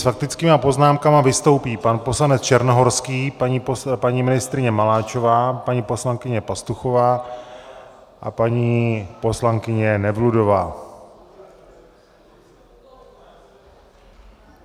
S faktickými poznámkami vystoupí pan poslanec Černohorský, paní ministryně Maláčová, paní poslankyně Pastuchová a paní poslankyně Nevludová.